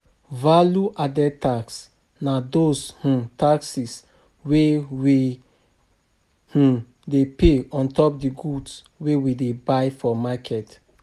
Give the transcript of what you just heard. Value added tax na those taxes wey we dey pay ontop di goods wey we buy for market